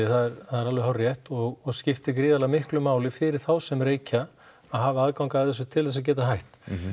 það er alveg hárrétt og skiptir gríðarlega miklu máli fyrir þá sem reykja að hafa aðgang að þessu til þess að geta hætt